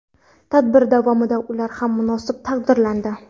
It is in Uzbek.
Tadbir davomida ular ham munosib taqdirlandi.